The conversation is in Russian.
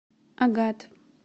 агат